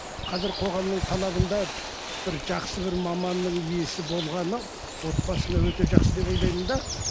қазір қоғамның талабында бір жақсы бір маманның иесі болғаны отбасына өте жақсы деп ойлаймын да